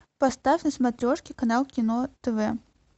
поставь на смотрешке канал кино тв